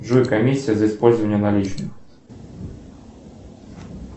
джой комиссия за использование наличных